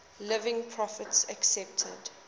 living prophets accepted